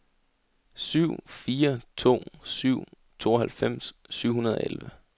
syv fire to syv tooghalvfems syv hundrede og elleve